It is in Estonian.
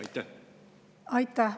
Aitäh!